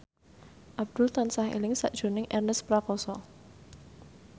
Abdul tansah eling sakjroning Ernest Prakasa